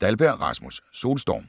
Dahlberg, Rasmus: Solstorm